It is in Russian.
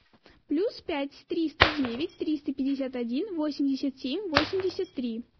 плюс пять триста девять триста пятьдесят один восемьдесят семь восемьдесят три